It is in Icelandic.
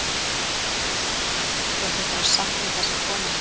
Sigríður: Þú átt eftir að sakna þess að koma hingað?